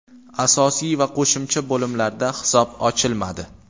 Asosiy va qo‘shimcha bo‘limlarda hisob ochilmadi.